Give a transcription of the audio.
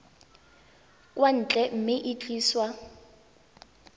kwa ntle mme e tliswa